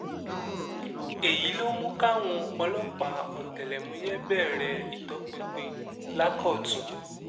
èyí ló mú káwọn ọlọ́pàá ọ̀tẹlẹ̀múyẹ́ bẹ̀rẹ̀ ìtọpinpin lákọ̀tun